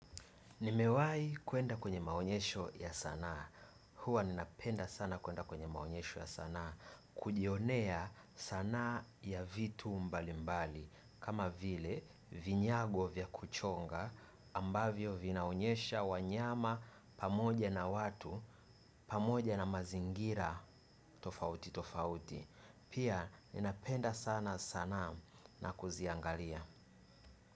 Nimewai kuenda kwenye maonyesho ya sanaa. Huwa ninapenda sana kwenda kwenye maonyesho ya sanaa. Kujionea sanaa ya vitu mbali mbali. Kama vile vinyago vya kuchonga ambavyo vinaonyesha wanyama pamoja na watu pamoja na mazingira tofauti tofauti. Pia ninapenda sana sanaa na kuziangalia.